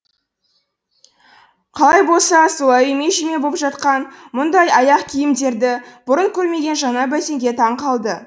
қалай болса солай үйме жүйме боп жатқан мұндай аяқ киімдерді бұрын көрмеген жаңа бәтеңке таң қалды